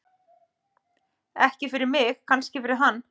Ekki fyrir mig, kannski fyrir hann.